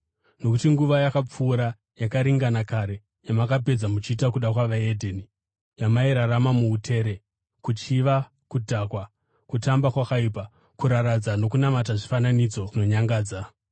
Nokuti nguva yakapfuura yakaringana kare yamakapedza muchiita kuda kwavahedheni yamairarama muutere, kuchiva, kudhakwa, kutamba kwakaipa, kuraradza nokunamata zvifananidzo zvinonyangadza.